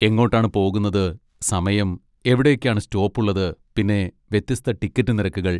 എങ്ങോട്ടാണ് പോകുന്നത്, സമയം, എവിടൊക്കെയാ സ്റ്റോപ്പുള്ളത്, പിന്നെ വ്യത്യസ്ത ടിക്കറ്റ് നിരക്കുകൾ.